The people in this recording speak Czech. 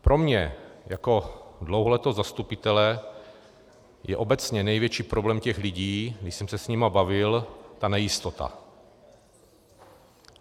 Pro mě jako dlouholetého zastupitele je obecně největší problém těch lidí, když jsem se s nimi bavil, ta nejistota.